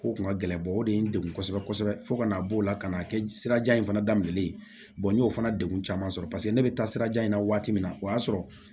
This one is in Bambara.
Ko kun ka gɛlɛn o de ye n degun kosɛbɛ kosɛbɛ fo ka na bɔ o la ka n'a kɛ sirajan in fana daminɛlen n y'o fana degun caman sɔrɔ paseke ne bɛ taa sirajan in na wagati min na o y'a sɔrɔ